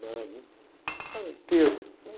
né? Era um cara inteiro.